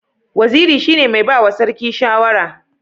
Waziri shine mai bawa sarki shawara